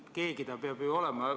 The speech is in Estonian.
Keegi ta peab ju olema.